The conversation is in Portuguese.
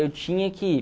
Eu tinha que ir.